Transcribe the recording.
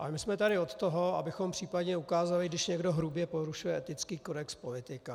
Ale my jsme tady od toho, abychom případně ukázali, když někdo hrubě porušuje etický kodex politika.